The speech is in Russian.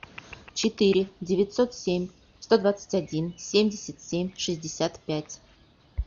четыре девятьсот семь сто двадцать один семьдесят семь шестьдесят пять